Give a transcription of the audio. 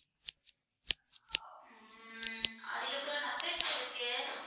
ஆஹ் அதுக்கப்பறம் nuggets இருக்கு.